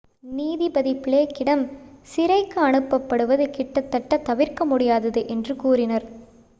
"நீதிபதி பிளேக்கிடம் சிறைக்கு அனுப்பப்படுவது "கிட்டத்தட்ட தவிர்க்க முடியாதது" என்று கூறினார்.